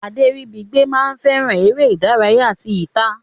Aderibigbe ma fẹràn eré ìdárayá tí ita.